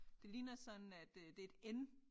Det ligner sådan at øh det et N